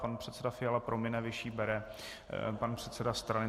Pan předseda Fiala promine - vyšší bere, pan předseda strany.